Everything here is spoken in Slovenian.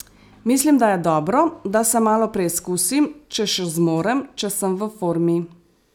Mislim, da je dobro, da se malo preizkusim, če še zmorem, če sem v formi ...